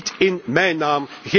Niet in mijn naam!